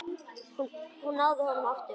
Hún náði honum aftur.